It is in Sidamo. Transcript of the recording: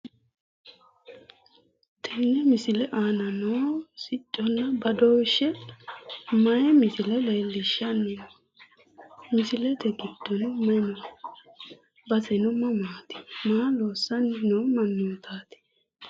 Tenne misile aana noohu sicconna badooshshe mayi misile leellishshanni no? Misilete gidddono mayi no? Baseno mamaati? Maa loossanni noo mannootaati?